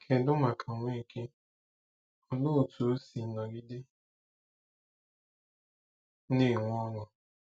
Kedu maka Nweke—olee otú o si nọgide na-enwe ọṅụ?